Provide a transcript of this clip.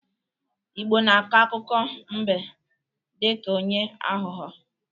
Igbo na akọ akụkọ mbe dị ka onye aghọghọ